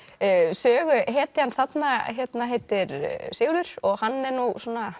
söguhetjan þarna heitir Sigurður og hann er nú svona